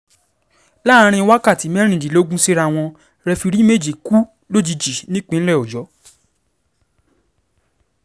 láàrin wákàtí mẹ́rìnlélógún síra wọn rẹfirí méjì kú lójijì nípínlẹ̀ ọ̀yọ́